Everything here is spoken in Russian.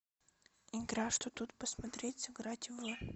игра что тут посмотреть сыграть в